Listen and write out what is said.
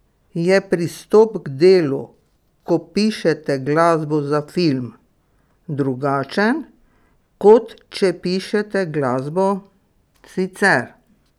Je pristop k delu, ko pišete glasbo za film, drugačen, kot če pišete glasbo sicer?